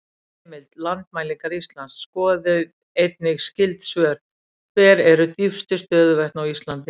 Heimild: Landmælingar Íslands Skoðið einnig skyld svör: Hver eru dýpstu stöðuvötn á Íslandi?